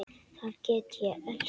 Þar get ég elskað alla.